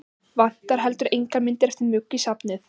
Vantar heldur engar myndir eftir Mugg í safnið?